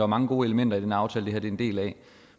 mange gode elementer i den aftale det her er en del af